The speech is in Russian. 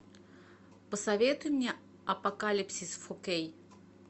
посоветуй мне апокалипсис фор кей